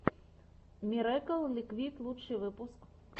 мирэкл ликвид лучший выпуск